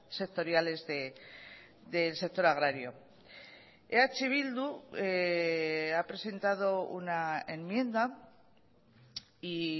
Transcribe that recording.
sectoriales del sector agrario eh bildu ha presentado una enmienda y